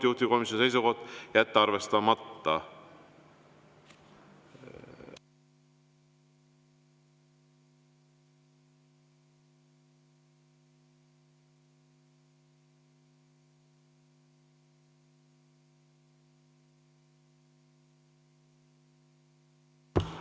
Juhtivkomisjoni seisukoht: jätta arvestamata.